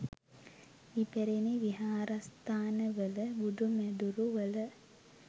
ඉපැරැණි විහාරස්ථානවල බුදු මැදුරු වල